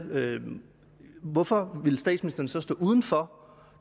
hvorfor ville statsministeren så stå uden for